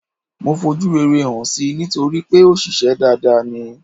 Mo fojú rere hàn si nítorípé òṣìṣę dada ni.